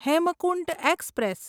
Hemkunt express